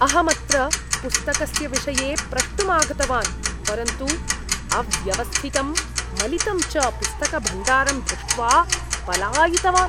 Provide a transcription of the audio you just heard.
अहं अत्र पुस्तकस्य विषये प्रष्टुम् आगतवान्, परन्तु अव्यवस्थितं मलितं च पुस्तकभण्डारं दृष्ट्वा पलायितवान्।